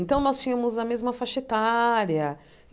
Então, nós tínhamos a mesma faixa etária.